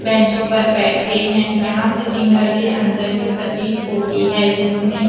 बैंचों पर बैठे है यहाँ सेटिंग घर के अंदर की प्रतीत होती है जिसमें --